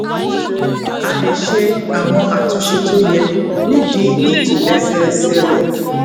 á lè ṣe àwọn àtúnṣe tó yẹ nídìí ìtòlésẹẹsẹ rè